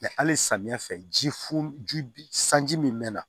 hali samiyɛ fɛ ji funu ji sanji min mɛ na